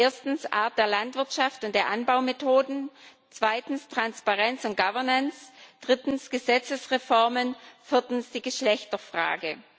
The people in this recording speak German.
Erstens Art der Landwirtschaft und der Anbaumethoden, zweitens Transparenz und Governance, drittens Gesetzesreformen, viertens die Geschlechterfrage.